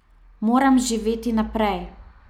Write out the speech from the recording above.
Moram živeti naprej.